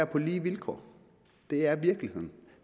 på lige vilkår det er virkeligheden